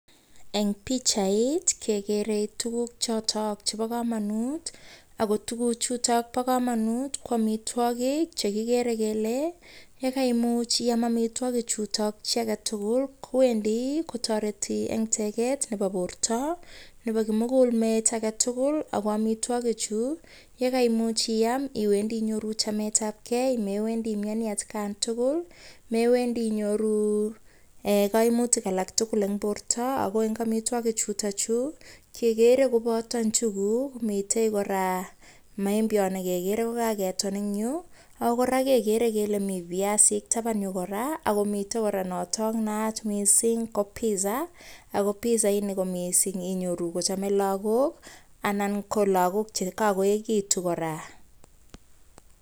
Eng pichait kekere tukuk chotok chebo kamanut, ako tukuchutok bo kamanut ko amitwogik che kikere kele, ye kaimuch iam amitwogichutok chi ake tugul, kowendi kotoreti eng teket nebo borta nebo kimugul met ake tugul, ako amitwogichu ye kaimuch iam iwendi inyoru chametabkei, mewendi imioni atkan tugul, mewendi inyoru um kaimutik alak tugul eng borta, ako eng amitwogi chutochu, kekere kobota njuguk mitei kora maembiot ne kekere ko kaketon eng yu, ako kora kekere kele mi viasik taban yu kora, ako mitei kora notok naat mising ko pizza, ako pizza ini ko mising inyoru kochame lagok, anan ko lagok che kakoekitu kora.